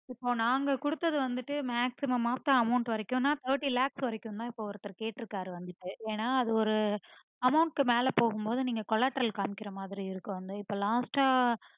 இப்போ நாங்க குடுத்தது வந்துட்டு maximum of the amount thirty lakhs வரைக்கும் தா ஒருத்தர் கேட்ருக்காரு வந்துட்டு ஏன்னா அது ஒரு amount க்கு மேல போகும்போது Collateral காற்ற மாதிரி இருக்கும் இப்போ last ஆ